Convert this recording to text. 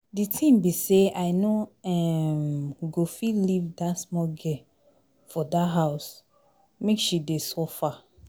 The thing be say I no um go fit leave dat small girl for dat house make she dey suffer